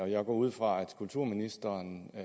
jeg går ud fra at kulturministeren